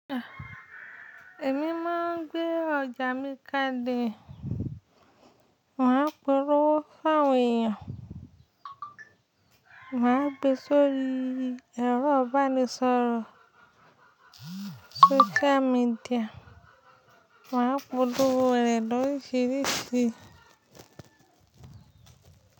Èmi máa ń gbé ọjà mi kále, màá polowo fún èèyàn, màá gbèsi èrò ibanísọ̀rọ̀, social media, màá polowo re lorisirísí.